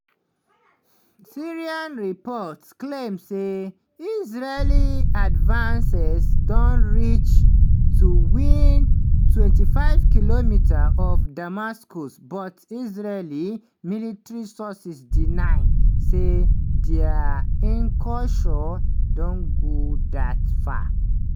syrian reports claim say israeli advances don reach to within 25km of damascus but israeli military sources deny say dia incursion don go dat far.